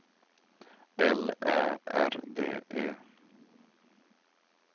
L Ä R D E